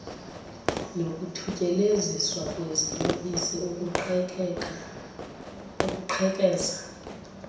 nokuthutyeleziswa kweziyobisi ukuqhekeza